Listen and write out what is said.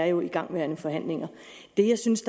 jo er igangværende forhandlinger det jeg synes